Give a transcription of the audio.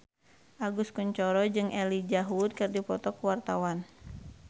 Agus Kuncoro jeung Elijah Wood keur dipoto ku wartawan